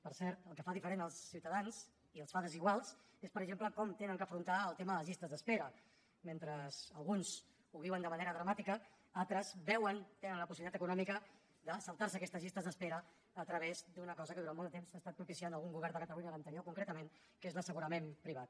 per cert el que fa diferents els ciutadans i els fa desiguals és per exemple com han d’afrontar el tema de les llistes d’espera mentre alguns ho viuen de manera dramàtica altres veuen tenen la possibilitat econòmica de saltar se aquestes llistes d’espera a través d’una cosa que durant molt de temps ha estat propiciant algun govern de catalunya l’anterior concretament que és l’assegurament privat